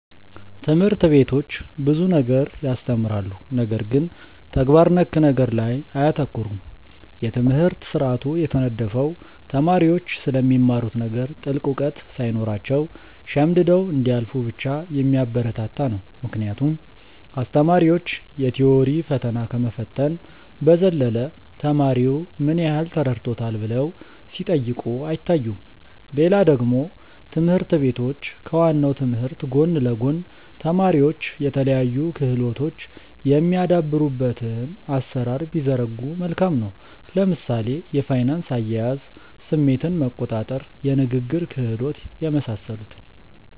ትምህርት ቤቶች ብዙ ነገር ያስተምራሉ ነገር ግን ተግባር ነክ ነገር ላይ አያተኩሩም። የትምህርት ስርአቱ የተነደፈው ተማሪዎች ስለሚማሩት ነገር ጥልቅ እውቀት ሳይኖራቸው ሸምድደው እንዲያልፉ ብቻ የሚያበረታታ ነው ምክንያቱም አስተማሪዎች የ ቲዎሪ ፈተና ከመፈተን በዘለለ ተማሪው ምን ያህል ተረድቶታል ብለው ሲጠይቁ አይታዩም። ሌላ ደግሞ ትምህርት ቤቶች ከ ዋናው ትምህርት ጎን ለ ጎን ተማሪዎች የተለያዩ ክህሎቶች የሚያዳብሩበትን አሰራር ቢዘረጉ መልካም ነው። ለምሳሌ የፋይናንስ አያያዝ፣ ስሜትን መቆጣር፣ የንግግር ክህሎት የመሳሰሉትን